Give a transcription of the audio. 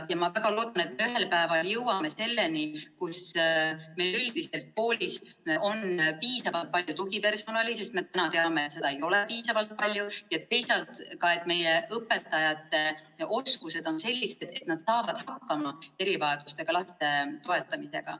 Ma väga loodan, et ühel päeval me jõuame selleni, kus meil üldiselt koolis on piisavalt palju tugipersonali – sest me teame, et praegu seda ei ole piisavalt – ja teisalt on ka meie õpetajate oskused sellised, et nad saavad hakkama erivajadustega laste toetamisega.